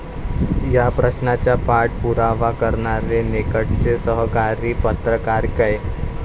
या प्रश्नाचा पाठ पुरावा करणारे निकटचे सहकारी पत्रकार कै.